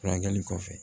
Furakɛli kɔfɛ